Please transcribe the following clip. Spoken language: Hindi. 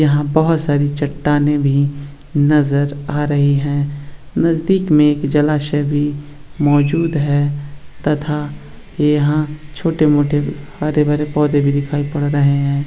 यहाँ बहुत सारी चट्टानें भी नजर आ रही हैं | नजदीक में एक जलाशय भी मौजूद है तथा यहाँ छोटे मोठे हरे भरे पौधे भी दिखाई पड़ रहे हैं |